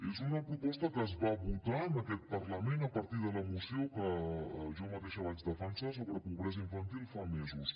és una proposta que es va votar en aquest parlament a partir de la moció que jo mateixa vaig defensar sobre pobresa infantil fa mesos